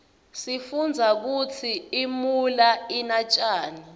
sifundza kutsi imuula ina njani